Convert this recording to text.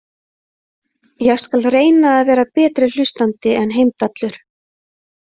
Ég skal reyna að vera betri hlustandi en Heimdallur